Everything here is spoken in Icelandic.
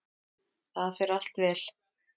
Það fer allt vel.